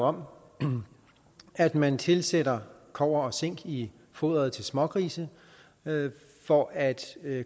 om at man tilsætter kobber og zink i foderet til smågrise for at